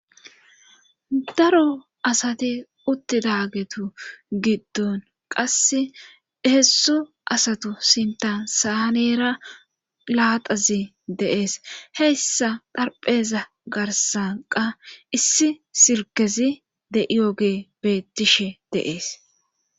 daro asati uttidagetu giddon qase heessu asatu sintan saanera laaxazi deees heyssa dharpheza garsanqa issi sirkezi de7iyoge bettishe deees